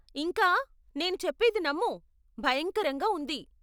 ఇంకా, నేను చెప్పేది నమ్ము, భయంకరంగా ఉంది.